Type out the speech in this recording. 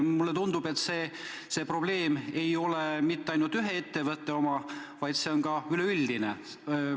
Mulle tundub, et see ei ole mitte ainult ühe ettevõtte probleem, vaid üleüldine.